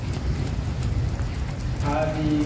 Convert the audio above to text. आह ती वंदे भारत म्हणजे metro सारखी train आहे ना?